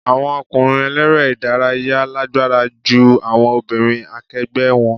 Àwọn ọkùnrin eléré ìdárayá lágbára ju àwọn obìnrin akẹgbẹ́ wọn.